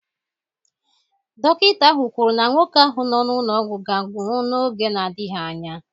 Dọkịta ahụ kwuru na nwoke ahụ nọ n'ụlọ ọgwụ ga-anwụ n'oge na-adịghị anya